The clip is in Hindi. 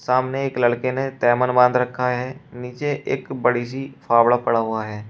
सामने एक लड़के ने तेमन बांध रखा है नीचे एक बड़ी सी फावड़ा पड़ा हुआ है।